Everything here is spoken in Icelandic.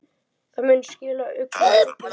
Það muni skila auknum tekjum.